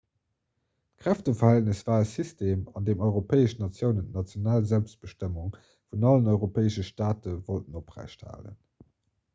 d'kräfteverhältnis war e system an deem europäesch natiounen d'national selbstbestëmmung vun allen europäesche staate wollten oprecht halen